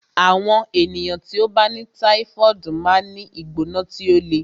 Àwọn ènìyàn tí ó bá ní táífọ̀ọdu máa ń ní ìgbóná tí ó le